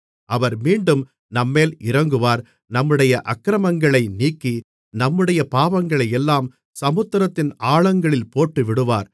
அவர் மீண்டும் நம்மேல் இரங்குவார் நம்முடைய அக்கிரமங்களை நீக்கி நம்முடைய பாவங்களையெல்லாம் சமுத்திரத்தின் ஆழங்களில் போட்டுவிடுவார்